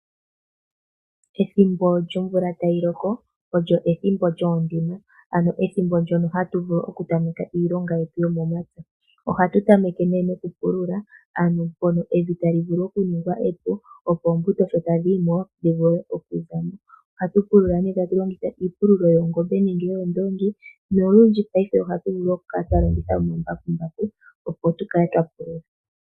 Ethimbo lyomvula tayi loko olyo ethimbo lyoondima. Ano ethimbo ndjono hatu vulu oku tameka iilonga yetu yomomapya. Ohatu tameke nee noku pulula ano mpono evi tali vulu oku ningwa epu opo oombuto sho tadhi yimo dhi vule oku zamo. Ohatu pulula nee tatu longitha iipululo yoongombe nenge yoondongi. Nolundji paife ohatu vulu tu kale hatu twa longitha ombakumbaku opo tu kale twapulula.